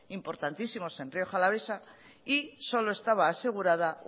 importantísimos en rioja alavesa y solo estaba asegurada